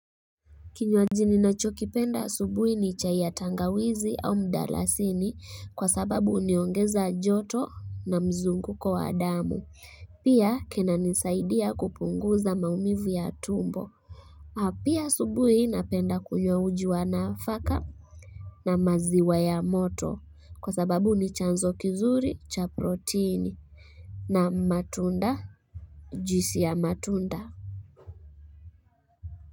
Kinywaji ninacho kipenda asubuhi ni chai ya tangawizi au mdalasini kwa sababu huniongeza joto na mzunguko wa damu Pia kinanisaidia kupunguza maumivu ya tumbo na pia asubuhi napenda kunywa uji wa nafaka na maziwa ya moto kwa sababu ni chanzo kizuri cha proteini na matunda, Juisi ya matunda.